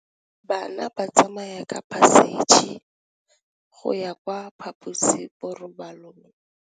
Bana ba tsamaya ka phašitshe go ya kwa phaposiborobalong.